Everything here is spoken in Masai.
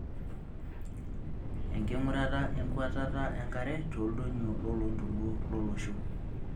Enkingurata enkuatata enkare tooldonyio loloontoluo lolosho.